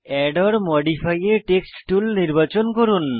add or modify a text tool নির্বাচন করুন